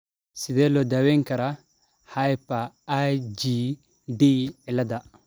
Sidee loo daweyn karaa hyper IgD ciilada?